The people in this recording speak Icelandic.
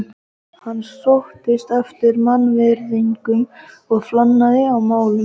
Hann sóttist eftir mannvirðingum og flanaði að málum.